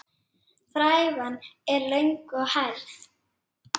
Frævan er löng og hærð.